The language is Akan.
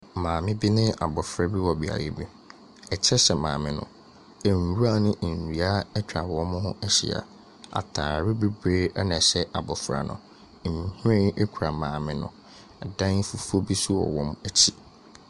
Maame bi ne abofra bi wɔ beaeɛ bi. Ɛkyɛ hyɛ maame no. Nwura ne nnua atwa wɔn ho ahyia. Ataare bebree na ɛhyɛ abofra no no. Nhwiren kura maame no. Ɛdan fufuo bi nso wɔ wɔn akyi.